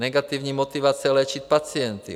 Negativní motivace léčit pacienty.